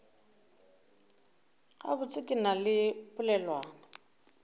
gabotse ke na le polelwana